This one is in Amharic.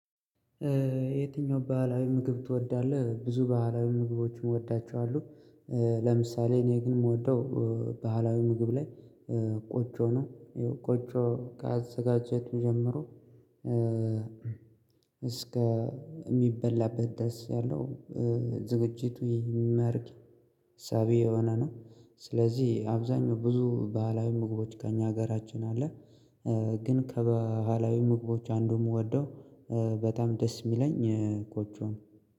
የትኛው ባህላዊ ምግብ ትወዳለህ? ብዙ ባህላዊ ምግቦችን እወዳቸዋለሁ። ለምሳሌ እኔ ግን ምወደው። ባህላዊ ምግብ ላይ ቆጮ ነው ያው ቆጮ ከአዘጋጀቱ ጀምሮ። እስከ ሚበላበት ደረስ ያለው ዝግጅቱ ይመርቅ ሳቢ የሆነ ነው። ስለዚህ አብዛኛው ብዙ ባህላዊ ምግቦች ከእኛ ሀገራችን አለ። ግን ከበኋላዊ ምግቦች አንዱ ምወደው በጣም ደስ ሚለኝ ቆጮ ነው